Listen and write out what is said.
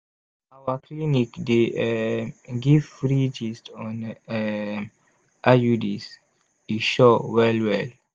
our clinic dey um give free gist on um iuds e sure well well!